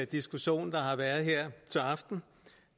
diskussion der har været her til aften